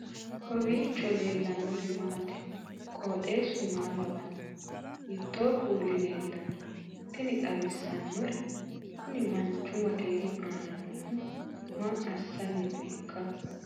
kowiicho leellannori maati ? qooxeessu maa lawaanno ? hiitoo kuuli leellanno ? tini xawissannori kuni manchu maakeenu aana noohu maa assanni nooika